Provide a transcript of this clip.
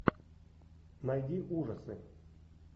найди ужасы